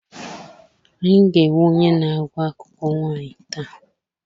Anyị ga-enwe onye na-agụ akụkọ nwaanyị taa.